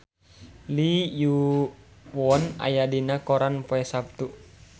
Lee Yo Won aya dina koran poe Saptu